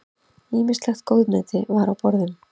Ýmislegt góðmeti var á borðum.